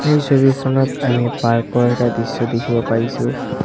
এই ছবিখনত আমি পাৰ্ক ৰ এটা দৃশ্য দেখিব পাইছোঁ।